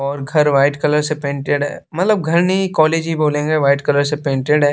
और घर white colour से पेंटेड है मतलब घर नहीं कॉलेज ही बोलेंगे वाइट कलर से पेंटेड है।